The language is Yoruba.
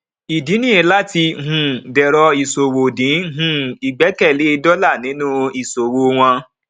ìdí ni láti um dẹrọ ìṣòwò dín um ìgbẹkẹlé dólà nínú ìṣòwò wọn